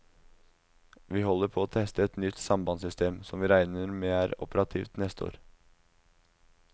Vi holder på å teste et nytt sambandssystem, som vi regner med er operativt neste år.